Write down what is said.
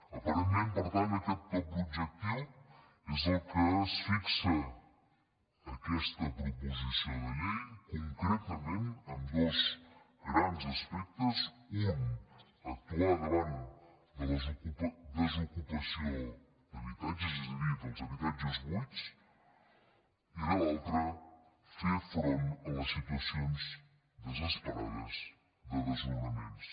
aparentment per tant aquest doble objectiu és el que es fixa aquesta proposició de llei concretament amb dos grans aspectes un actuar davant de la desocupa·ció d’habitatges és a dir dels habitatges buits i l’al·tre fer front a les situacions desesperades de desnona·ments